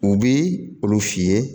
U bi olu f'i ye